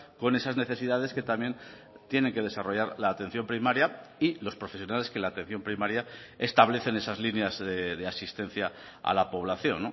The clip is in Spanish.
con esas necesidades que también tiene que desarrollar la atención primaria y los profesionales que la atención primaria establecen esas líneas de asistencia a la población